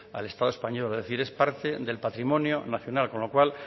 al estado español es decir es parte del patrimonio nacional con lo cual